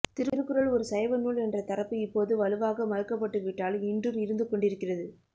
திருக்குறள் ஒரு சைவநூல் என்ற தரப்பு இப்போது வலுவாக மறுக்கப்பட்டுவிட்டாலும் இன்றும் இருந்துகொண்டிருக்கிறது